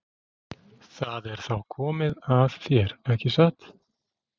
Það er þá komið að þér, ekki satt?